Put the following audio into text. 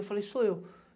Eu falei, sou eu.